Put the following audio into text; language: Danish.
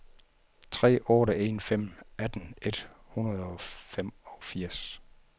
tre otte en fem atten et hundrede og femogfirs